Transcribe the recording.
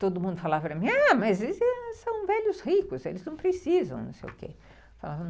Todo mundo falava para mim, ah, mas eles são velhos ricos, eles não precisam, não sei o quê.